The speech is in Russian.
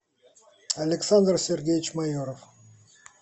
александр сергеевич майоров